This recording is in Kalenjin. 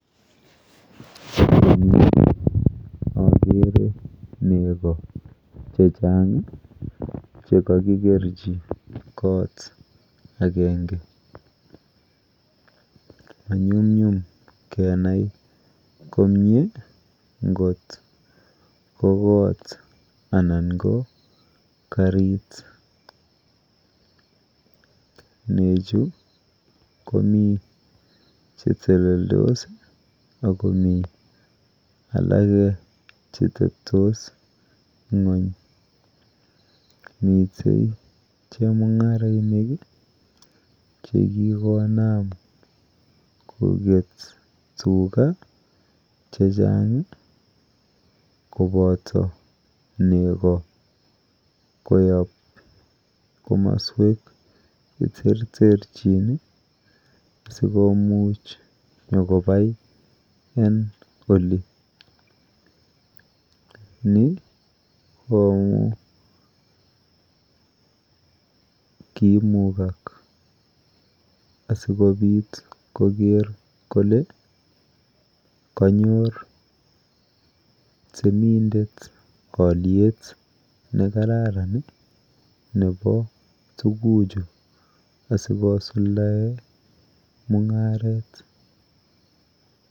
Eng yu akere nego chechang chekakikerchi kot akenge. Manyumnyum kenai komie nkot ko koot anan ko karit. Nechu komi cheteleldos akomi alake cheteptos ng'uny. Mite chemung'arainik chekikonam koket tuga chechang kopoto nego koyop komaswek cheterterchin sikomuch nyokopai eng oli. Ni ko amu kiimukak asikopit koker kole kanyor temindet alyet nekararan nepo tuguchu asikosuldae mung'aret.